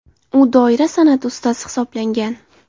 U doira san’ati ustasi hisoblangan.